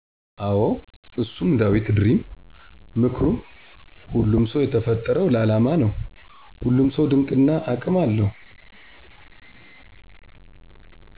አዎ እሱም ዳዊት ድሪም ምክሩም ሁሉም ሰው የተፈጠረው ለአላማ ነው ሁሉም ሰው ድንቅ እና አቅም አለው